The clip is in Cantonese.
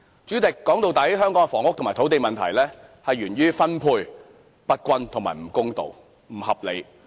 主席，說到底，香港的房屋和土地問題源於分配不均、不公道、不合理。